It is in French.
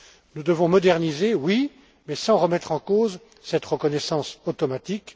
Nous devons moderniser, oui, mais sans remettre en cause cette reconnaissance automatique.